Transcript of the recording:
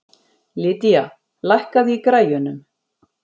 Lydia, lækkaðu í græjunum.